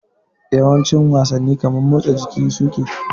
Yawancin wasanni kamar mutsa jiki suke